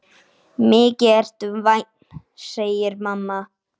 Mikið ertu vænn, segir mamma.